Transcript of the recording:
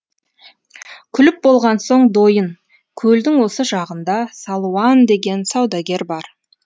күліп болған соң дойын көлдің осы жағында салуан деген саудагер бар